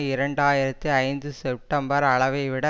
இரண்டு ஆயிரத்தி ஐந்து செப்டம்பர் அளவை விட